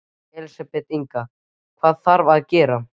Elísabet Inga: Hvað þarf að gera?